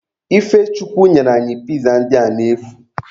Ifechukwu nyere anyị piza ndị a n'efu.